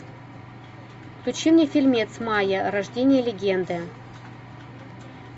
включи мне фильмец майя рождение легенды